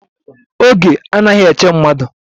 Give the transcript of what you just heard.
Oge anaghi eche mmadụ